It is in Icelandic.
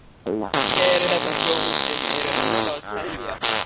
Eru þetta hjól sem eru ennþá að selja?